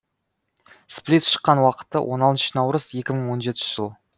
сплит шыққан уақыты он алтыншы наурыз екі мың он жетінші жыл